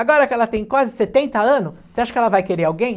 Agora que ela tem quase setenta anos, você acha que ela vai querer alguém?